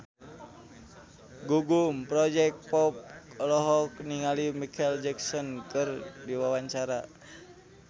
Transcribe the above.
Gugum Project Pop olohok ningali Micheal Jackson keur diwawancara